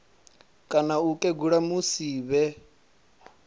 kana u kegula musi vhe